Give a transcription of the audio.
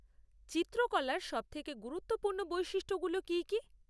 চিত্রকলার সবথেকে গুরুত্বপূর্ণ বৈশিষ্ট্যগুলো কী কী?